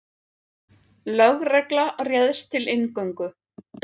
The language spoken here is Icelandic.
Lögregla réðst til inngöngu